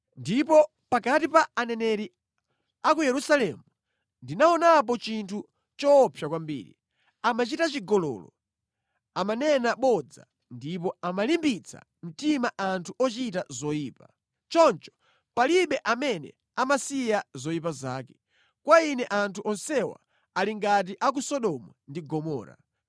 Ndipo pakati pa aneneri a ku Yerusalemu ndaonapo chinthu choopsa kwambiri: amachita chigololo, amanena bodza ndipo amalimbitsa mtima anthu ochita zoyipa. Choncho palibe amene amasiya zoyipa zake. Kwa Ine anthu onsewa ali ngati a ku Sodomu ndi Gomora.”